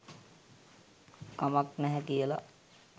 කමක් නැහැ කියලා.